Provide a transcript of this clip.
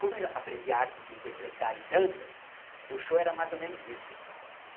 Como eu aprendi a arte de interpretar e danças, o show era mais ou menos isso.